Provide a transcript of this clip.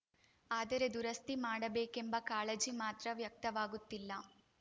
ಆದರೆ ದುರಸ್ತಿ ಮಾಡಬೇಕೆಂಬ ಕಾಳಜಿ ಮಾತ್ರ ವ್ಯಕ್ತವಾಗುತ್ತಿಲ್ಲ